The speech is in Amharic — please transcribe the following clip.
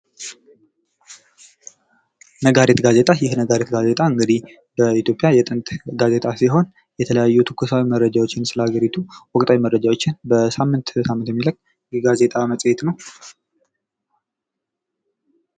ነጋሪት ጋዜጣ ነጋሪት ጋዜጣ እንግዲህ በኢትዮጵያ የጥንት ጋዜጣ ሲሆን የተለያዩ ትኩሳዊ መረጃዎችን ስለ ሀገሪቱ ወቅታዊ መረጃ በሳምንት የሚለቅ የጋዜጣ መጽሄት ነው፡፡